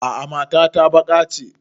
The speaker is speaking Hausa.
A'a mata ta baƙa ce